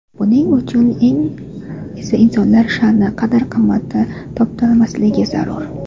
Buning uchun esa insonlar sha’ni, qadr-qimmati toptalmasligi zarur.